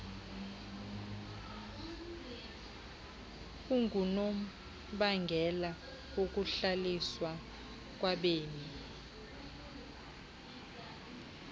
engunobangela wokuhlaliswa kwabemi